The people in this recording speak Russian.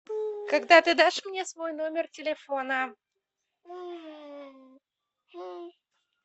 когда ты дашь мне свой номер телефона